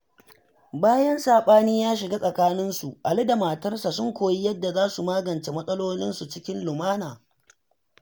Bayan saɓani ya shiga tsakaninsu, Ali da matarsa sun koyi yadda za su magance matsalolinsu cikin lumana.